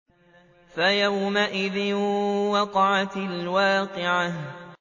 فَيَوْمَئِذٍ وَقَعَتِ الْوَاقِعَةُ